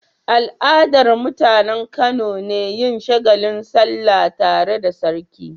Al'adar mutAnan Kano ne yin shagalin sallah tare da sarki